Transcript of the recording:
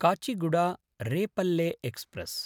काचिगुडा–रेपल्ले express